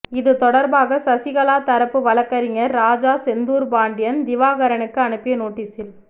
இது தொடர்பாக சசிகலா தரப்பு வழக்கறிஞர் ராஜா செந்தூர்பாண்டியன் திவாகரனுக்கு அனுப்பிய நோட்டீஸில்